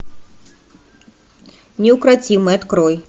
неукротимый открой